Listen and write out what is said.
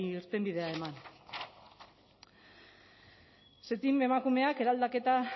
irtenbidea eman ztiam emakumeak eraldaketa